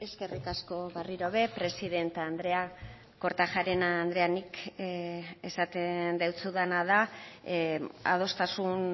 eskerrik asko berriro ere presidente andrea kortajarena andrea nik esaten deutsudana da adostasun